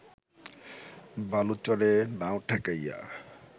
বালুচরে নাও ঠেকাইয়া